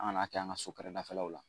An ka n'a kɛ an ka so kɛrɛdafɛlaw la.